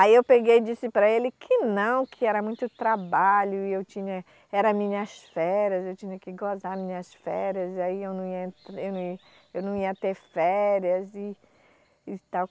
Aí eu peguei e disse para ele que não, que era muito trabalho, e eu tinha, era minhas férias, eu tinha que gozar minhas férias, e aí eu não ia eu não ia eu não ia ter férias e tal.